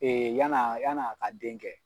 yann'a yann'a ka den kɛ.